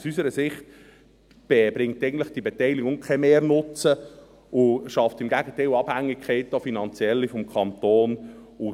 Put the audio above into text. Aus unserer Sicht bringt diese Beteiligung eigentlich keinen Mehrnutzen, sondern schafft im Gegenteil Abhängigkeiten, auch finanzielle, des Kantons.